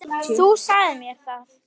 Þú sagðir mér það.